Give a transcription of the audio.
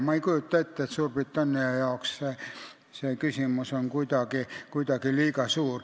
Ma ei kujuta ette, et Suurbritannia jaoks oleks see kuidagi liiga suur küsimus.